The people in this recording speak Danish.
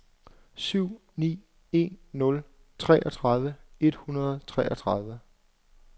syv ni en nul treogtredive et hundrede og treogtredive